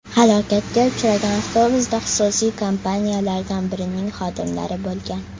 Halokatga uchragan avtobusda xususiy kompaniyalardan birining xodimlari bo‘lgan.